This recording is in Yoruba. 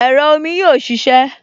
Ẹ̀rọ omi yóò ṣiṣẹ́